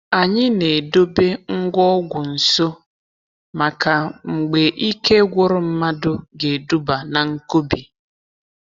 Anyị na-edobe ngwa ọgwụ nso maka mgbe ike gwụrụ mmadụ ga-eduba na nkubi